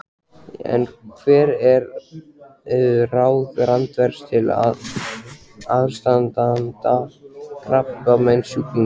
En hver eru ráð Randvers til aðstandanda krabbameinssjúklinga?